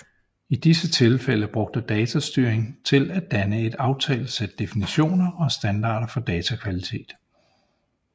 I disse tilfælde bruge datastyring til at danne et aftalt sæt definitioner og standarder for datakvalitet